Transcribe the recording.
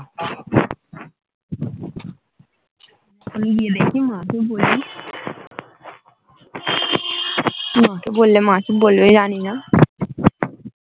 গিয়ে দেখি মা কে বলি মা কে বললে মা কি বলবে জানি না